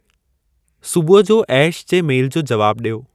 सुबुह जो ऐश जे मेल जो जवाबु ॾियो।